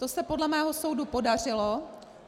To se podle mého soudu podařilo.